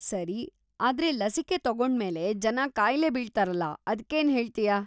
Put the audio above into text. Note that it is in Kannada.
ಸರಿ, ಆದ್ರೆ ಲಸಿಕೆ ತಗೊಂಡ್ಮೇಲೆ ಜನ ಕಾಯಿಲೆ ಬೀಳ್ತಾರಲ್ಲ, ಅದ್ಕೇನ್‌ ಹೇಳ್ತೀಯಾ?